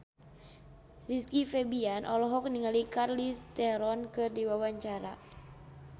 Rizky Febian olohok ningali Charlize Theron keur diwawancara